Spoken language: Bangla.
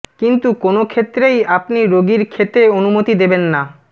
কিন্তু কোনও ক্ষেত্রেই আপনি রোগীর খেতে অনুমতি দেবেন না